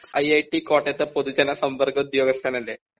I I T കോട്ടയത്തെ പൊതുജനസംബന്ധ ഉദ്യോഗസ്ഥനാല്ലേ